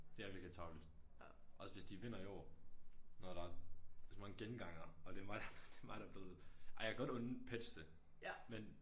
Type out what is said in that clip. Det er virkelig tarveligt. Også hvis de vinder i år når der så mange gengangere og det mig der det er mig der blevet ej jeg kan godt unde Petsch det men